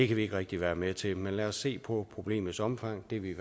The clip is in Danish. kan vi ikke rigtig være med til men lad os se på problemets omfang det er vi i